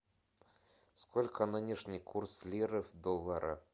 сколько нынешний курс лиры в доллары